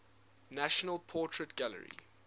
national portrait gallery